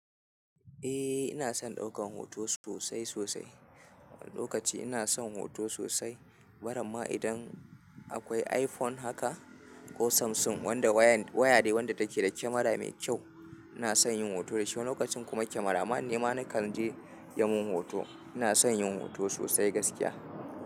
Eh ina son ɗaukan hoto sosai sosai. Lokaci ina son hoto sosai. Baramma idan akwai iPhone haka ko Samsung wanda waya wayan waya dai wanda take da kyamara mai kyau ina son yin hoto da shi. Lokacin kuma kyamara man nema na kan je ya mun hoto. Ina son yin hoto sosai gaskiya.